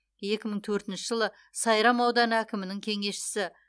екі мың төртінші жылы сайрам ауданы әкімінің кеңесшісі